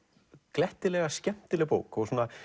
glettilega skemmtileg bók svona